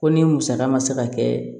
Ko ni musaka ma se ka kɛ